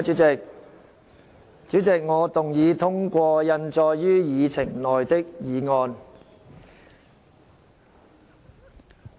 主席，我動議通過印載於議程內的議案。